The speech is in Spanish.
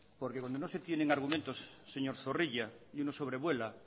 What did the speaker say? por que cuando no se tienen argumentos señor zorrilla y uno sobrevuela